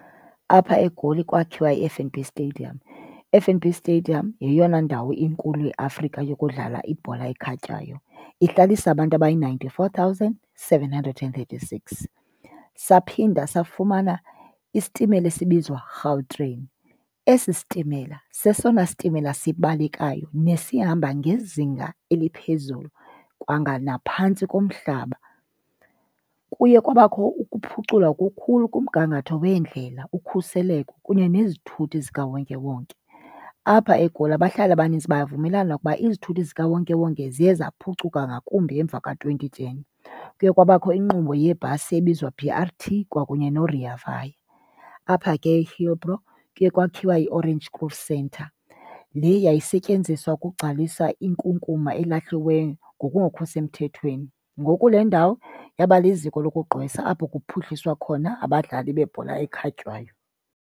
Apha eGoli kwakhiwa i-F_N_B Stadium. I-F_N_B Stadium yeyona ndawo inkulu eAfrika yokudlala ibhola ekhatywayo, ihlalisa abantu abayi ninety-four thousand seven hundred and thirty-six. Saphinda safumana isitimela esibizwa Gautrain. Esi sitimela sesona sitimela sibalekayo nesihamba ngezinga eliphezulu kwanga naphantsi komhlaba. Kuye kwabakho ukuphucula okukhulu kumgangatho weendlela, ukhuseleko kunye nezithuthi zikawonke wonke. Apha eGoli abahlali abanintsi bayavumelana ukuba izithuthi zikawonkewonke ziye zaphucuka ngakumbi emva ka-twenty ten. Kuye kwabakho inkqubo yeebhasi ebizwa B_R_T kwakunye noRea Vaya. Apha ke eHillbrow kuye kwakhiwa iOrange Cruyff Centre le yayisetyenziswa ukugcwalisa inkunkuma elahliweyo ngokungekho semthethweni. Ngoku le ndawo yaba liziko lokugqwesa apho kuphuhliswa khona abadlali bebhola ekhatywayo.